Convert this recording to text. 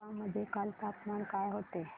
कडप्पा मध्ये काल तापमान काय होते